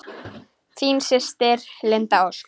Þín systir, Linda Ósk.